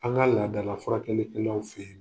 An ka laadala furakɛlikɛlaw fɛ yen